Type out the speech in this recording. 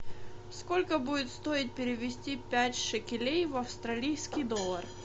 сколько будет стоить перевести пять шекелей в австралийский доллар